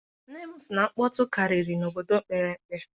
Nne m sị na nkpọtụ karịrị n'obodo mepere emepe.